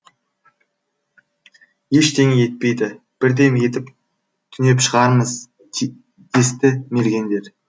ештеңе етпейді бірдеме етіп түнеп шығармыз десті мергендер